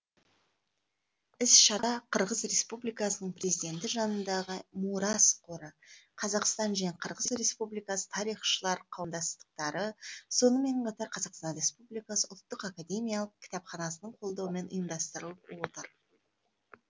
іс шара қырғыз республикасының президенті жанындағы мурас қоры қазақстан және қырғыз республикасы тарихшылар қауымдастықтары сонымен қатар қазақстан республикасы ұлттық академиялық кітапханасының қолдауымен ұйымдастырылып отыр